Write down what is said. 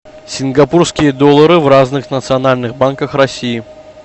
сингапурские доллары в разных национальных банках россии